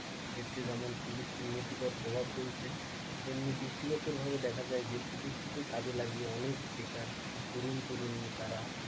এতে যেমন প্রযুক্তি নিতিকর প্রভাব ফেলেছে তেমনি দৃষ্টিগোচর ভাবে দেখা যায় যে প্রযুক্তিকে কাজে লাগিয়ে অনেক বেকার তরুণ-তরুণী তারা,